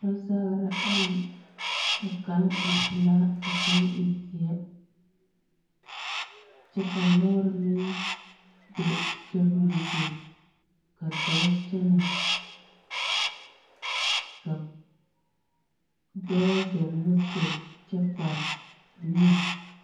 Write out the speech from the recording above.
Lɔzagera ayi. Ka kaŋ e pelaa ka kaŋ e zeɛ, kyɛ ka lɔɔr meŋ be sobirizu, ka dɔɔ kyɛnɛ ka dɔɔ zɔŋ moto kyɛ kpare neɛ.